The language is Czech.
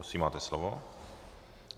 Prosím, máte slovo.